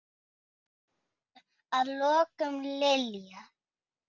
Að lokum, Lilja.